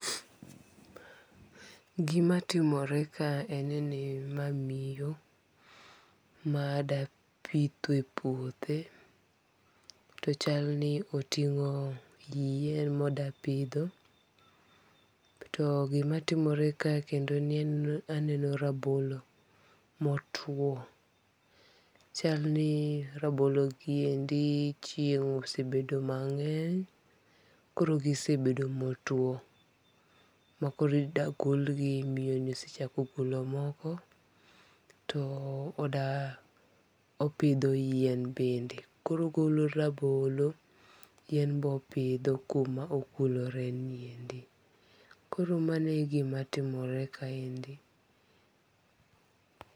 Gima timore ka en ni ma miyo ma da pitho e puothe. To chalni oting'o yien modapidho. To gima timore ka kendo ni aneno rabolo motwo. Chalni rabolo giendi chieng' osebedo mang'eny koro gisebedo motuo ma koro ida gol gi miyo ni osechako golo moko. To oda opidho yien bende. Koro ogolo rabolo to yien be opidho kuma okuloreni endi. Koro mano e gima timore kaniendi.